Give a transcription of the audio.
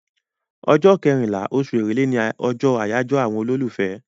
Ọjọ́ kẹrìnlá oṣù èrèlé ni ọjọ́ àjọyọ̀ àwọn olólùfẹ́.